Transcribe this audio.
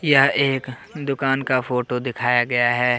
यह एक दुकान का फोटो दिखाया गया है।